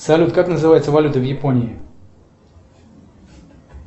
салют как называется валюта в японии